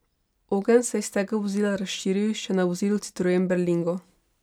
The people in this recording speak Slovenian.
Ogenj se je s tega vozila razširil še na vozilo citroen berlingo.